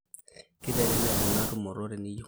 keitelelek ena tumoto teniyeu